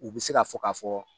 U bɛ se k'a fɔ k'a fɔ